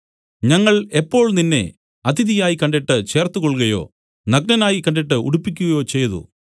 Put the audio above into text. ഞങ്ങൾ എപ്പോൾ നിന്നെ അതിഥിയായി കണ്ടിട്ട് ചേർത്തുകൊൾകയോ നഗ്നനായി കണ്ടിട്ട് ഉടുപ്പിക്കയോ ചെയ്തു